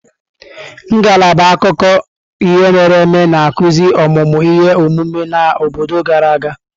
Ngalaba akụkọ ihe mere eme na-akụzi ọmụmụ ihe omume na obodo gara aga.